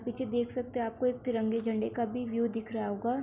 पीछे देख सकते हैं आपको एक तिरंगे झंडे का भी व्यू दिख रहा होगा।